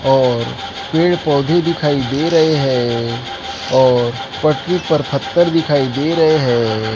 और पेड़ पौधे दिखाई दे रहे है और पटरी पर पत्थर दिखाई दे रहे है।